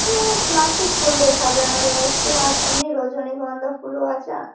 এখানে প্লাস্টিক ফুল দিয়ে সাজানো রয়েছে আর এমনি রজনীগন্ধা ফুলও রয়েছে আ --